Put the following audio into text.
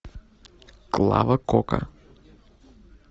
клава кока